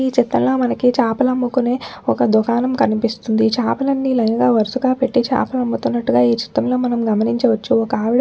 ఈ చిత్రంలో మనకి చాపలు అమ్ముకునే ఒక్క దుకాణం కనిపిస్తుంది చాపలన్ని లైన్ గా వరుసగా పెట్టి చాపలు అమ్ముతున్నాటుగా ఈ చిత్రంలో మనం గమనించవచ్చు ఒక్కవిడా --